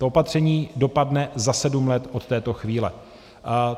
To opatření dopadne za sedm let od této chvíle.